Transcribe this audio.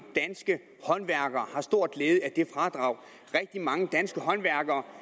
danske håndværkere har stor glæde af det fradrag at rigtig mange danske håndværkere